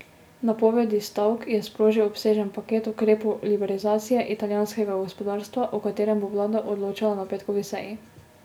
Napovedi stavk je sprožil obsežen paket ukrepov liberalizacije italijanskega gospodarstva, o katerem bo vlada odločala na petkovi seji.